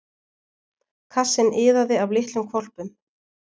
Kassinn iðaði af litlum hvolpum.